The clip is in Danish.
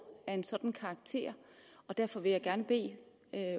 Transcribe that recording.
af en sådan karakter derfor vil jeg gerne bede